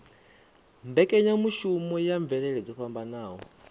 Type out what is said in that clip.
mbekanyamushumo ya mvelele dzo fhambanaho